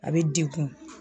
A bi dekun